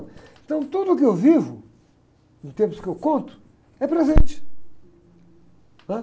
Então, tudo que eu vivo, em termos que eu conto, é presente. Ãh